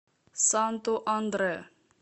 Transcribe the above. санту андре